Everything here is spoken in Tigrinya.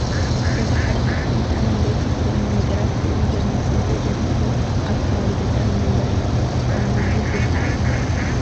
እዚ ሓደ ካብቶም ብጣዕሚ ኣድለይቲ ዝኮኑ ነገራት እዚ ኣብ ምስሊ እንሪኦ ዘለና እውን ኣብ ከባቢ ገጠር ንመንበሪነት ዝጥቀምሉ ቦታ እዩ፡፡